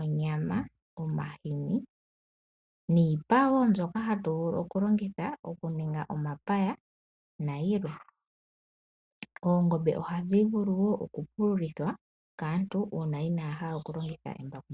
onyama, omahini niipa wo mbyoka hatu vulu okulongitha okuninga omapaya nayilwe. Oongombe ohadhi vulu wo okupululithwa kaantu uuna inaya hala okulongitha embakumbaku.